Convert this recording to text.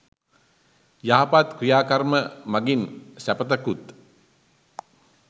යහපත් ක්‍රියා කර්ම මඟින් සැපතකුත්